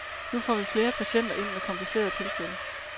Nu får vi flere patienter ind med komplicerede tilfælde.